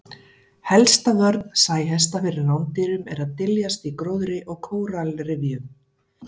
Helsta vörn sæhesta fyrir rándýrum er að dyljast í gróðri og kóralrifjum.